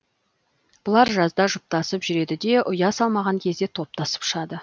бұлар жазда жұптасып жүреді де ұя салмаған кезде топтасып ұшады